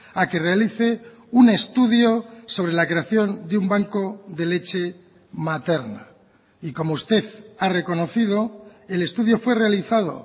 a que realice un estudio sobre la creación de un banco de leche materna y como usted ha reconocido el estudio fue realizado